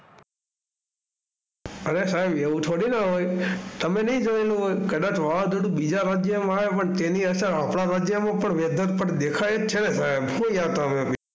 R સાહેબ! એવું થોડીના હોય, તમે નહીં જોયેલું હોય કદાચ વાવાઝોડું બીજા ભાગ્યમાં આવે પણ તેની અસર આપણા ભાગ્યમાં પણ Weather પર દેખાય જ છે ને ભાઈ. શું યાર તમે બી.